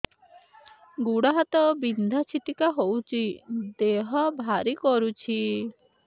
ଗୁଡ଼ ହାତ ବିନ୍ଧା ଛିଟିକା ହଉଚି ଦେହ ଭାରି କରୁଚି